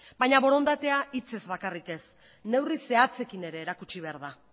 baina borondatea hitzez bakarrak ez neurriz zehatzekin ere erakutsi behar da